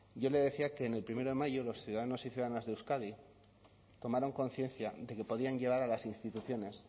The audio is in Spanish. yo le decía que en el primero de mayo los ciudadanos y ciudadanas de euskadi tomaron conciencia de que podían llevar a las instituciones